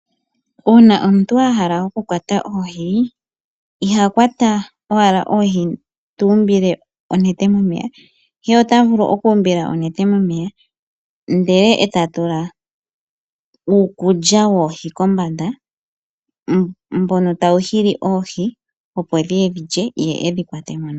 Uuna omuntu a hala oku kwata oohi, iha kwata owala oohi tuumbile onete momeya, ihe ota vulu okuumbila onete momeya ndele e ta tula uukulya woohi kombanda mbono tawu hili oohi opo dhiye dhilye ye edhi kwatemo nawa.